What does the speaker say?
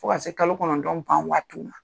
Fo ka se kalo kɔnɔntɔn ban waati ma.